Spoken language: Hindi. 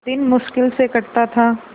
दिन मुश्किल से कटता था